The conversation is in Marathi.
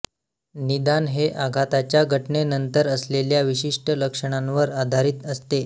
निदान हे आघाताच्या घटनेनंतर असलेल्या विशिष्ट लक्षणांवर आधारित असते